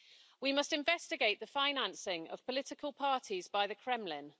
We must investigate the financing of political parties by the Kremlin.